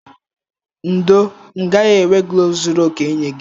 Ndo, m gaghị enwe kloves zuru oke inye gi.